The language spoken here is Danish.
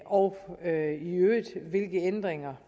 og hvilke ændringer